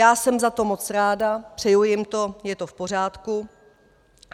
Já jsem za to moc ráda, přeju jim to, je to v pořádku.